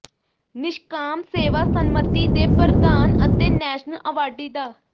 ਨਿਸ਼ਕਾਮ ਸੇਵਾ ਸੰਮਤੀ ਦੇ ਪ੍ਰਧਾਨ ਅਤੇ ਨੈਸ਼ਨਲ ਅਵਾਰਡੀ ਡਾ